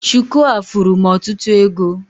Shuku a furu m ọtụtụ ego